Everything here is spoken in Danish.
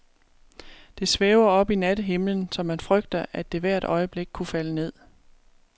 Det svæver oppe i nattehimlen, så man frygter, at det hvert øjeblik kunne falde ned.